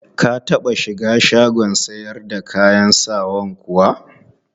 Ka taɓa shiga shagon sayar da kayan sawan kuwa?